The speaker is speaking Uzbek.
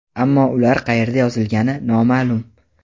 Ammo ular qayerda yozilgani noma’lum.